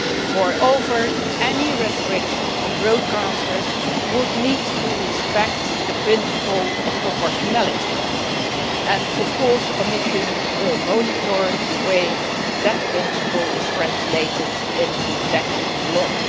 Moreover, any restrictions on broadcasters would need to respect the principle of proportionality. Of course the Commission will monitor the way that principle is translated into secondary law.